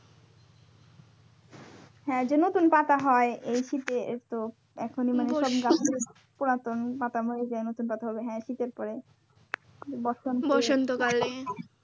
হ্যাঁ যে নতুন পাতা হয় এই শীত এ তো এখনই পুরাতন পাতা পড়ে যায় নতুন পাতা হ্যাঁ শীতের পরে বসন্ত